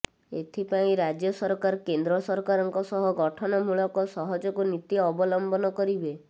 ଏଥିପାଇଁ ରାଜ୍ୟ ସରକାର କେନ୍ଦ୍ର ସରକାରଙ୍କ ସହ ଗଠନମୂଳକ ସହଯୋଗ ନୀତି ଅବଲମ୍ବନ କରିବେ